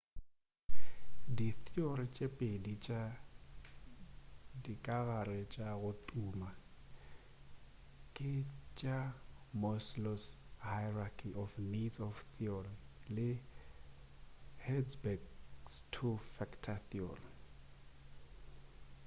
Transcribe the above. ditheory tše pedi tša dikagare tša go tuma ke tša maslow's hierarchy of needs theory le hertzberg's two factor theory